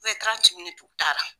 u t'a la.